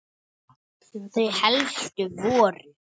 Þau helstu voru